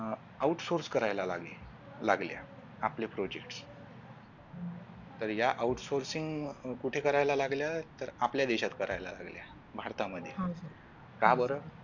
OUT SOURCE करायला लागले लागल्या आपले Projects तर या Out sourcing कुठे करायला लागल्या तर आपल्या देशात करायला लागलेल्या भारतामध्ये हम्म का बरं